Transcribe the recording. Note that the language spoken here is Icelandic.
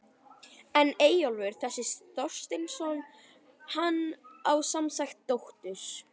En Eyjólfur þessi Þorsteinsson, hann á semsagt dóttur